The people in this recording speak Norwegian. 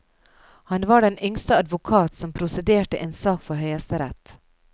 Han var den yngste advokat som prosederte en sak for høyesterett.